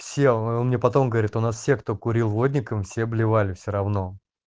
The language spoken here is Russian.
сел он мне потом говорит у нас все кто курил водником все блевали все равно